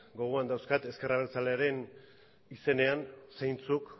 gogoan dauzkat ezker abertzalearen izenean zeintzuk